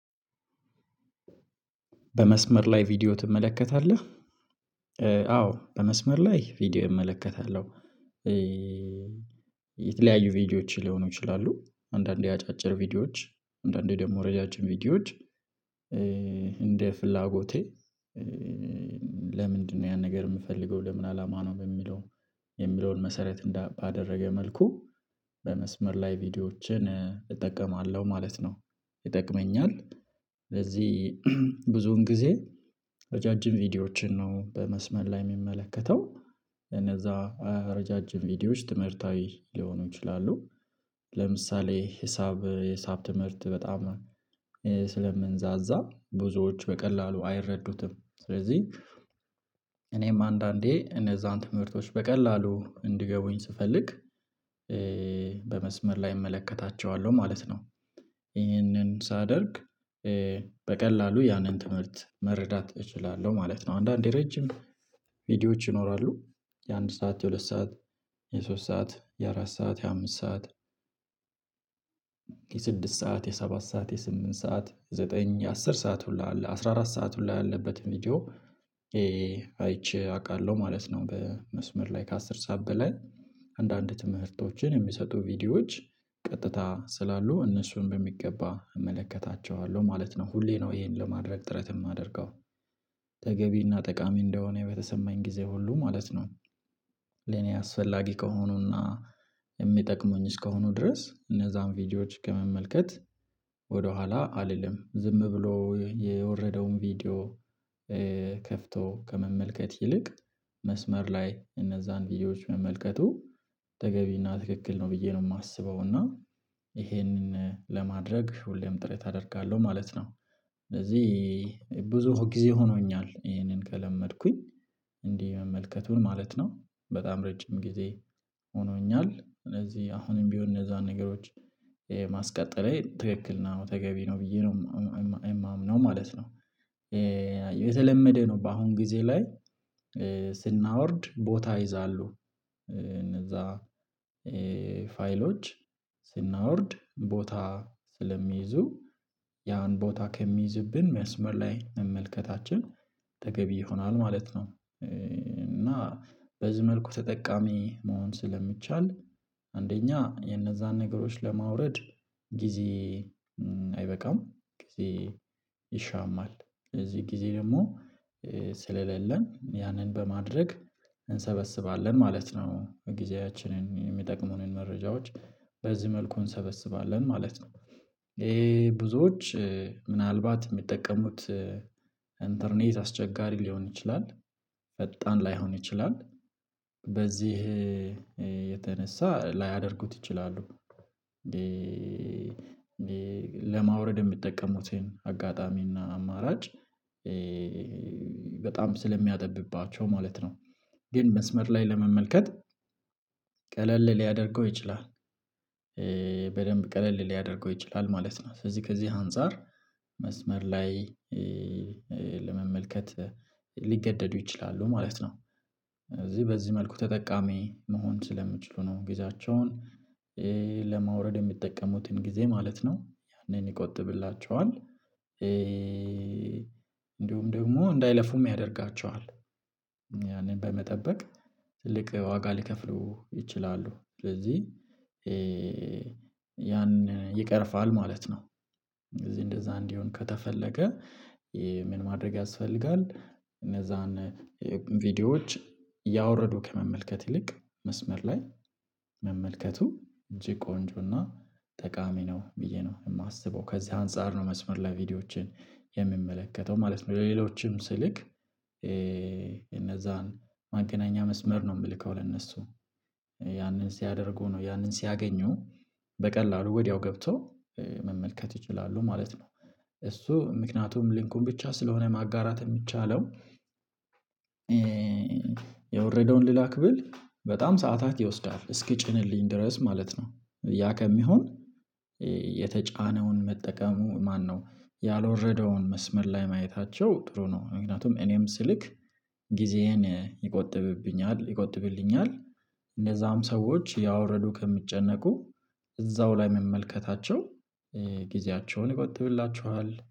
በመስመር ላይ ቪዲዮ ትመለከታለህ? አዎ በመስመር ላይ ቪዲዮ እመለከታለሁ። የተለያዩ ቪዲዮዎች ሊሆኑ ይችላሉ አንዳንዴ አጫጭር ቪዲዮዎች አንዳንዴ ደግሞ ረዣዥም ቪዲዮዎች እንደ ፍላጎቴ። ለምንድነው ያን ነገር የምፈልገው ለምን አላማ ነው በሚለው የሚለውን መሰረት ባደረገ መልኩ በመስመር ላይ ቪዲዮዎችን እጠቀማለሁ ማለት ነው። ይጠቅመኛል ለዚህ ብዙን ጊዜ ረዣዥም ቪዲዮዎችን ነው በመስመር ላይ የሚመለከተው። ረጃጅም ቪዲዮዎች ትምህርታዊ ሊሆኑ ይችላሉ ለምሳሌ ሂሳብ የሂሳብ ትምህርት በጣም ስለምንዛዛ ብዙዎች በቀላሉ አይረዱትም ስለዚህ እኔም አንዳንዴ እነዚያን ትምህርቶች በቀላሉ እንድገቡኝ ስፈልግ በመስመር ላይ እመለከታቸዋለሁ ማለት ነው። ይሄንን ሳደርግ በቀላሉ ያንን ትምህርት መረዳት እችላለሁ ማለት ነው። አንዳንዴ ረጅም ቪዲዮዎች ይኖራሉ የአንድ ሰዓት የሁለት ሰዓት የሶስት ሰዓት የአራት ሰዓት የአምስት ሰዓት የስድስት ሰዓት የሰባት ሰዓት የስምንት ሰዓት ዘጠኝ አስር ሰዓት ሁላ አለ አስራ አራት ሰዓት ሁላ ያለበት ቪዲዮ። አይቼ አውቃለሁ ማለት ነው። በመስመር ላይ ከአስር ሰዓት በላይ አንዳንድ ትምህርቶችን የሚሰጡ ቪዲዮዎች ቀጥታ ስላሉ እነሱን በሚገባ እመለከታቸዋለሁ ማለት ነው። ሁሌ ነው ይሄን ለማድረግ ጥረት የማደርገው ተገቢና ጠቃሚ እንደሆነ በተሰማኝ ጊዜ ሁሉ ማለት ነው። አስፈላጊ ከሆኑና የሚጠቅሙኝ እስከሆኑ ድረስ እነዚያን ቪዲዮዎች ከመመልከት ወደኋላ አልልም ዝም ብሎ የወረደውን ቪዲዮ። ከፍቶ ከመመልከት ይልቅ መስመር ላይ እነዚያን ቪዲዮዎች መመልከቱ ተገቢና ትክክል ነው ብዬ ነው የማስበው እና ይሄንን ለማድረግ ሁሌም ጥረት አደርጋለሁ ማለት ነው። ስለዚህ ብዙ ጊዜ ሆኖኛል ይሄንን ከለመድኩኝ እንዲህ መመልከቱን ማለት ነው በጣም ረጅም ጊዜ ሆኖኛል ስለዚህ አሁንም ቢሆን እነዚያን ነገሮች ማስቀጠሌ ትክክል ነው ተገቢ ነው ብዬ ነው የማምነው ማለት ነው። የተለመደ ነው በአሁን ጊዜ ላይ ስናወርድ ቦታ ይይዛሉ እነዚያ ፋይሎች ስናወርድ ቦታ ስለሚይዙ ያን ቦታ ከሚይዝብን መስመር ላይ መመልከታችን ተገቢ ይሆናል ማለት ነው። እና በዚህ መልኩ ተጠቃሚ መሆን ስለሚቻል አንደኛ የነዚያን ነገሮች ለማውረድ ጊዜ አይበቃም ጊዜ ይሻማል ስለዚህ ጊዜ ደግሞ ስለሌለን ያንን በማድረግ እንሰበስባለን ማለት ነው ጊዜያችንን የሚጠቅሙንን መረጃዎች በዚህ መልኩ እንሰበስባለን ማለት ነው። ይሄ ብዙዎች ምናልባት የሚጠቀሙት ኢንተርኔት አስቸጋሪ ሊሆን ይችላል። ፈጣን ላይሆን ይችላል በዚህ የተነሳ ላያደርጉት ይችላሉ እንዴ እንዴ ለማውረድ የሚጠቀሙትን አጋጣሚና አማራጭ በጣም ስለሚያጠብባቸው ማለት ነው ግን መስመር ላይ ለመመልከት ቀለል ሊያደርገው ይችላል። በደንብ ቀለል ሊያደርገው ይችላል ማለት ነው ስለዚህ ከዚህ አንፃር መስመር ላይ ለመመልከት ሊገደዱ ይችላሉ ማለት ነው። እዚህ በዚህ መልኩ ተጠቃሚ መሆን ስለምችሉ ነው ጊዜያቸውን ለማውረድ የሚጠቀሙትን ጊዜ ማለት ነው ያንን ይቆጥብላቸዋል እንድሁም ደግሞ እንዳይለፉም ያደርጋቸዋል ያንን በመጠበቅ ትልቅ ዋጋ ሊከፍሉ ይችላሉ ስለዚህ ያን ይቀርፋል ማለት ነው። ስለዚህ እንደዛ እንዲሆን ከተፈለገ ምን ማድረግ ያስፈልጋል? እነዚያን ቪዲዮዎች እያወረዱ ከመመልከት ይልቅ መስመር ላይ መመልከቱ እጅግ ቆንጆና ጠቃሚ ነው ብዬ ነው የማስበው ከዚህ አንፃር ነው መስመር ላይ ቪዲዮዎችን የምመለከተው ማለት ነው። ሌሎችም ስልክ እነዚያን ማገናኛ መስመር ነው የምልከው ለእነርሱ ያንን ሲያደርጉ ነው ያንን ሲያገኙ በቀላሉ ወዲያው ገብተው መመልከት ይችላሉ ማለት ነው። እሱ ምክንያቱም ሊንኩን ብቻ ስለሆነ ማጋራት የሚቻለው የወረደውን ልላክ ብል በጣም ሰዓታት ይወስዳል እስኪጭንልኝ ድረስ ማለት ነው። ያ ከሚሆን የተጫነውን መጠቀሙ ማነው ያልወረደውን መስመር ላይ ማየታቸው ጥሩ ነው። ምክንያቱም እኔም ስልክ ጊዜዬን ይቆጥብብኛል ይቆጥብልኛል እነዚያም ሰዎች እያውረዱ ከሚጨነቁ እዛው ላይ መመልከታቸው ጊዜያቸውን ይቆጥብላቸዋል።